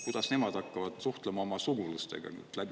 Kuidas nemad hakkavad suhtlema oma sugulastega?